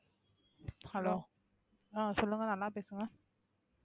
hello ஆஹ் சொல்லுங்க நல்லா பேசுங்க